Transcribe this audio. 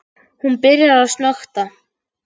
Hún byrjar að snökta.